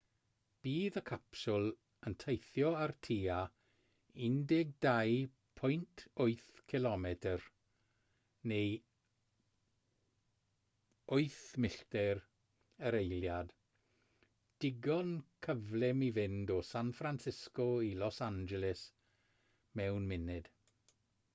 bydd y capsiwl yn teithio ar tua 12.8 km neu 8 milltir yr eiliad digon cyflym i fynd o san francisco i los angeles mewn munud